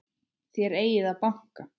Þér eigið að banka!